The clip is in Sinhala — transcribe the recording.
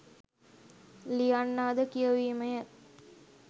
ලියන්නා ද කියවීමය